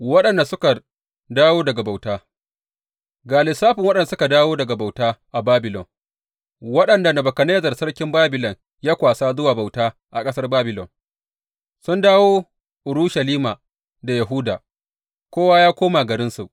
Waɗanda suka dawo daga bauta Ga lissafin waɗanda suka dawo daga bauta a Babilon, waɗanda Nebukadnezzar sarkin Babilon ya kwasa zuwa bauta a ƙasar Babilon sun dawo Urushalima da Yahuda, kowa ya koma garinsu.